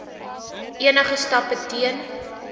enige stappe teen